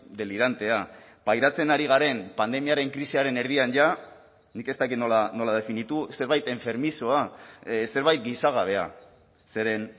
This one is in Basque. delirantea pairatzen ari garen pandemiaren krisiaren erdian ja nik ez dakit nola definitu zerbait enfermizoa zerbait gizagabea zeren